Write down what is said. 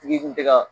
Tigi kun tɛ ka